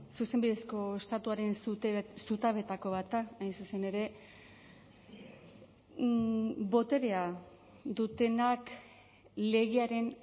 zuzenbidezko estatuaren zutabeetako bat da hain zuzen ere boterea dutenak legearen